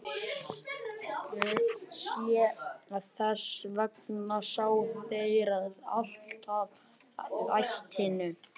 Þess vegna ná þeir alltaf ætinu.